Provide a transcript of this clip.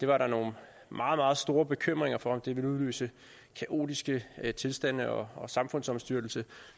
var nogle meget meget store bekymringer for om det ville udløse kaotiske tilstande og og samfundsomstyrtelse